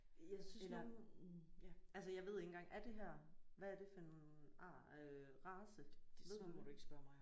Jeg synes nogle altså jeg ved ikke engang er det her hvad er det for en ar øh race? Ved du det?